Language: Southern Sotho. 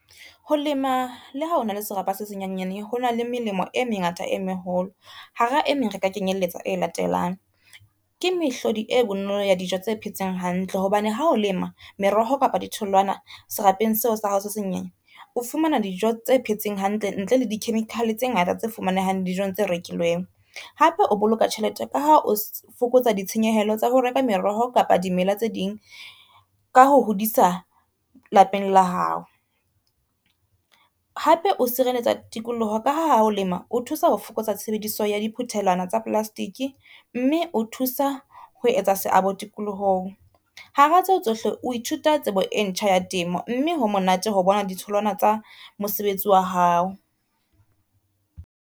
Ho lema le ha ona le serapa senyenyane, ha hona le melemo e mengata e meholo hara e meng re ka kenyelletsa e latelang, ke mehlodi e bonolo ya dijo tse phetseng hantle, hobane ha o lema meroho kapa di tholwana serapeng seo sa hao se senyenyane, o fumana dijo tse phetseng hantle ntle le di-chemical tse ngata tse fumanehang dijong tse rekilweng. Hape o boloka tjhelete ka ha o fokotsa ditshenyehelo tsa ho reka meroho kapa dimela tse ding ka ho hodisa lapeng la hao. Hape o sireletsa tikoloho ka ha ho lema o thusa ho fokotsa tshebediso ya di phuthelwana tsa plastic, mme o thusa ho etsa seabo tikolohong. Hara tseo tsohle, o ithuta tsebo e ntjha ya temo, mme ho monate ho bona di tholwana tsa mosebetsi wa hao.